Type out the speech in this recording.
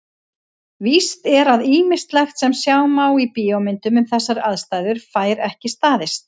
Víst er að ýmislegt sem sjá má í bíómyndum um þessar aðstæður fær ekki staðist.